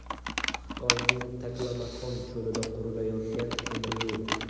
Xitoyning Taklamakon cho‘lida qurilayotgan temiryo‘l.